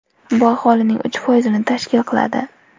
Bu aholining uch foizini tashkil qiladi.